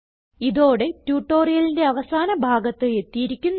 ഇതോടെ ട്യൂട്ടോറിയലിന്റെ അവസാന ഭാഗത്ത് എത്തിയിരിക്കുന്നു